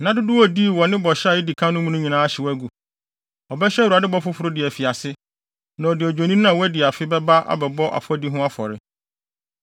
Nna dodow a odii wɔ ne bɔhyɛ a edi kan no mu no nyinaa ahyew agu. Ɔbɛhyɛ Awurade bɔ foforo de afi ase, na ɔde odwennini ba a wadi afe bɛba abɛbɔ afɔdi ho afɔre.